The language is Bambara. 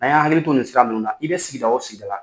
A y'a hakili to nin sira nnnu na, i bɛ sigidaw o sisigida la